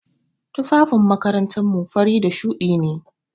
Tufafin makarantar mu fari da shuɗi ne.